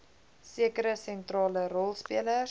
sekere sentrale rolspelers